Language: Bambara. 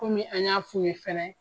Komi an y'a f'u ɲɛ fɛnɛ